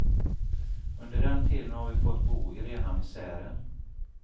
Under den tiden har vi fått bo i rena misären.